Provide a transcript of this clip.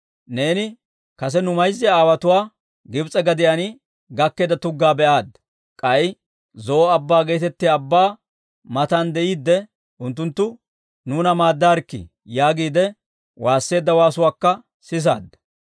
«Neeni kase nu mayza aawotuwaa Gibs'e gadiyaan gakkeedda tuggaa be'aadda; k'ay Zo'o Abbaa geetettiyaa abbaa matan de'iidde unttunttu, ‹Nuuna maaddaarikkii!› yaagiide waasseedda waasuwaakka sisaadda.